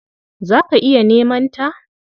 Za ka iya neman ta.